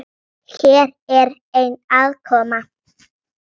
Hér er ein: aðkoma